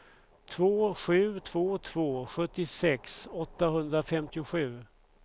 två sju två två sjuttiosex åttahundrafemtiosju